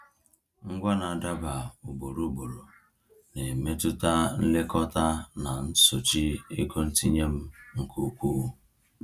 Ngwa na-adaba ugboro ugboro na-emetụta nlekọta na nsochi ego ntinye m nke ukwuu.